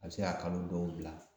A bɛ se ka kalo dɔw bila